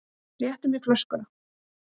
Réttu mér flöskuna.